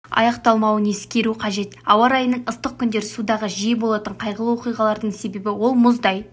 аяқталмауын ескеру қажет ауа райының ыстық күндері судағы жиі болатын қайғылы оқиғалардың себебі ол мұздай